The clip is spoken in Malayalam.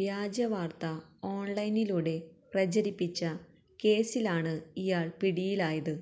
വ്യാജ വാര്ത്ത ഓണ്ലൈനിലൂടെ പ്രചരിപ്പിച്ച കേസിലാണ് ഇയാള് പിടിയിലായത്